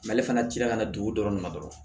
N'ale fana cira ka na dugu dɔrɔn ma dɔrɔn